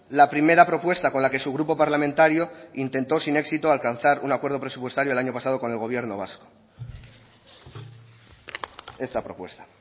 la primera propuesta con la que su grupo parlamentario intentó sin éxito alcanzar un acuerdo presupuestario el año pasado con el gobierno vasco esa propuesta